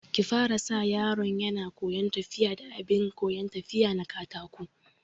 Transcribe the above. Ki fara sa yaron yana koyan tafiya da abin koyan tafiya na katako